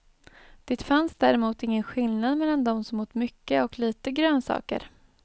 Det fanns däremot ingen skillnad mellan dem som åt mycket och lite grönsaker.